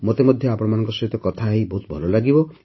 ମୋତେ ମଧ୍ୟ ଆପଣମାନଙ୍କ ସହିତ କଥାହୋଇ ବହୁତ ଭଲ ଲାଗିବ